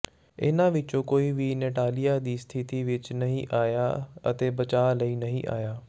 ਇਹਨਾਂ ਵਿਚੋਂ ਕੋਈ ਵੀ ਨੇਟਾਲੀਆ ਦੀ ਸਥਿਤੀ ਵਿਚ ਨਹੀਂ ਆਇਆ ਅਤੇ ਬਚਾਅ ਲਈ ਨਹੀਂ ਆਇਆ